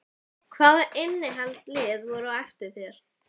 Hvaða innlend lið voru á eftir þér?